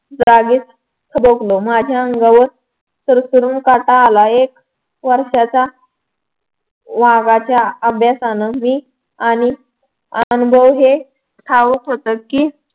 जागीच थबकलो. माझ्या अंगावर सरसरून काटा आला. एक वर्षाचा वाघाच्या आभ्यासानं मी आणि अनुभव हे ठाऊक होत की